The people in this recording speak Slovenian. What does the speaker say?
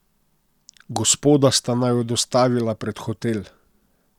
Gospoda sta naju dostavila pred hotel.